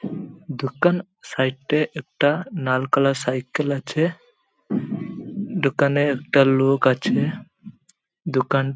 দোকান সাইড -এ একটা লাল কালার সাইকেল আছে। দোকানে একটা লোক আছে। দোকান --